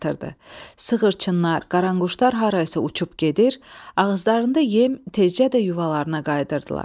Sığırçınlar, qaranquşlar harasa uçub gedir, ağızlarında yem tezcə də yuvalarına qayıdırdılar.